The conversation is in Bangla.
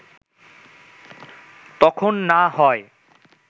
তখন না হয়